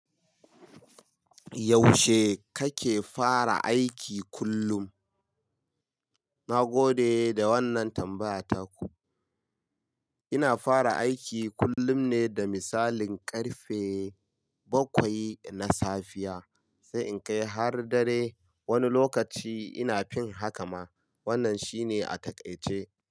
Yaushe kake fara aiki kullum? Na gode da wannan tambaya taku. Ina fara aiki kullum ne da misalin ƙarfe bakwai na safiya, sai in kai har dare. Wani lokaci ina fin haka ma. Wannan shine a taƙaice.